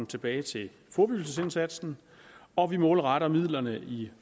tilbage til forebyggelsesindsatsen og vi målretter midlerne i